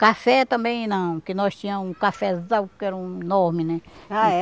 Café também não, que nós tinha um cafezal, que era um enorme, né? Ah é?